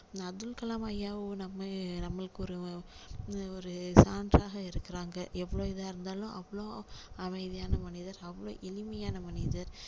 அப்துல் கலாம் ஐயாவும் நம்ம நம்மளுக்கு ஒரு அஹ் ஒரு chance சாக இருக்குறாங்க எவ்ளோ இதா இருந்தாலும் அவ்ளோ அமைதியான மனிதர் அவ்ளோ எளிமையான மனிதர்